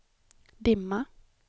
dimma